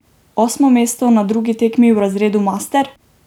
Osmo mesto na drugi tekmi v razredu master?